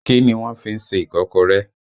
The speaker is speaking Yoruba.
Kí ni wọ́n fí ń ṣe Ìkọ́kọrẹ́?